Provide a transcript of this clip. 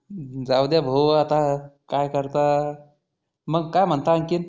जाउद्या भाऊ आता कायकरतात मग काय म्हणात आणखि?